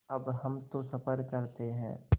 अब हम तो सफ़र करते हैं